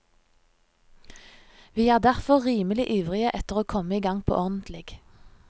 Vi er derfor rimelig ivrige etter å komme i gang på ordentlig.